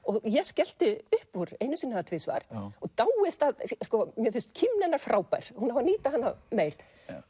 ég skellti upp úr einu sinni eða tvisvar og dáist að sko mér finnst kímni hennar frábær hún á að nýta hana meir